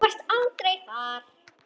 Þú varst aldrei þar.